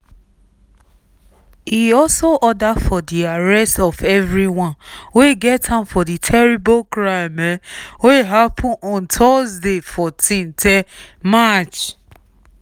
e also order for di arrest of everyone wey get hand for di terrible crime um wey happun on thursday 14 um march.